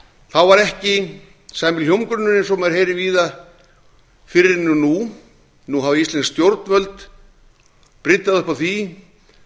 þá var ekki sami hljómgrunnur og maður heyrir víða fyrir henni nú nú hafa íslensk stjórnvöld bryddað upp á því